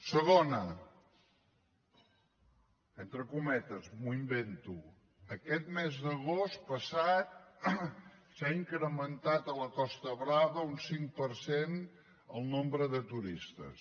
segon entre cometes m’ho invento aquest mes d’agost passat s’ha incrementat a la costa brava un cinc per cent el nombre de turistes